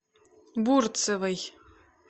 бурцевой